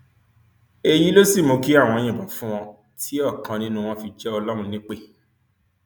èyí ló sì mú kí àwọn yìnbọn fún wọn tí ọkan nínú wọn fi jẹ ọlọrun nípẹ